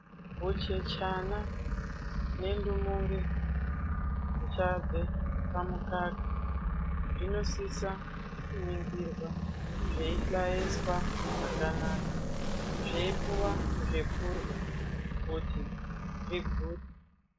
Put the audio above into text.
Huchechana nendumure zvichabve pamukaka zvinosisa kuningirwa zveihlayeswa zvakanaka zveipuwa zvekurhya kuti zvigute.